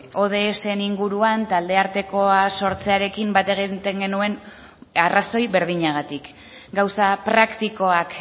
inguruan talde artekoa sortzearekin bat egiten genuen arrazoi berdinagatik gauza praktikoak